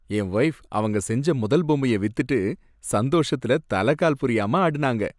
என் wife அவங்க செஞ்ச முதல் பொம்மைய வித்துட்டு சந்தோஷத்துல தலைகால் புரியாம ஆடுனாங்க.